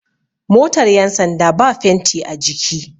motar yansanda ba fenti a jiki